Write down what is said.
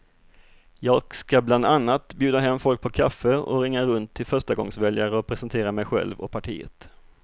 Jag ska bland annat bjuda hem folk på kaffe och ringa runt till förstagångsväljare och presentera mig själv och partiet.